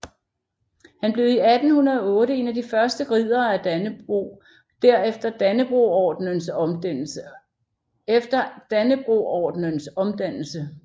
Han blev i 1808 en af de første Riddere af Dannebrog efter Dannebrogordenens omdannelse